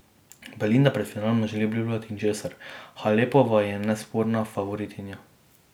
Belinda pred finalom ne želi obljubljati ničesar: 'Halepova je nesporna favoritinja.